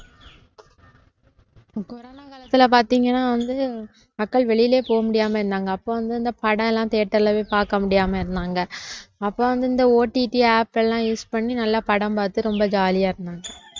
corona காலத்துல பார்த்தீங்கன்னா வந்து மக்கள் வெளியிலே போக முடியாம இருந்தாங்க அப்போ வந்து இந்த படம் எல்லாம் theater லே போய் பார்க்க முடியாம இருந்தாங்க அப்போ வந்து இந்த OTTapp எல்லாம் use பண்ணி நல்லா படம் பார்த்து ரொம்ப jolly ஆ இருந்தாங்க